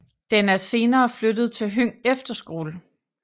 Den er senere flyttet til Høng Efterskole